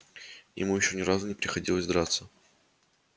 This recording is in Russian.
ему ещё ни разу не приходилось драться